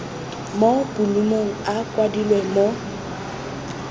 mo bolumong a kwadilwe mo